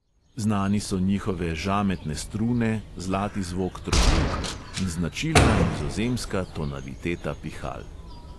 Znani so njihove žametne strune, zlati zvok trobil in značilna nizozemska tonaliteta pihal.